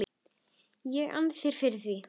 ég ann þér fyrir því.